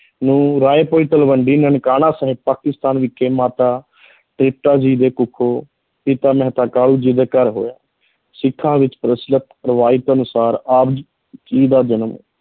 ਨੂੰ ਰਾਇ ਤਲਵੰਡੀ ਨਨਕਾਣਾ ਸਾਹਿਬ, ਪਾਕਿਸਤਾਨ ਵਿਖੇ ਮਾਤਾ ਤ੍ਰਿਪਤਾ ਜੀ ਦੇ ਕੁੱਖੋਂ, ਪਿਤਾ ਮਹਿਤਾ ਕਾਲੂ ਜੀ ਦੇ ਘਰ ਹੋਇਆ, ਸਿੱਖਾਂ ਵਿੱਚ ਪ੍ਰਚਲਤ ਰਵਾਇਤ ਅਨੁਸਾਰ ਆਪ ਜੀ ਦਾ ਜਨਮ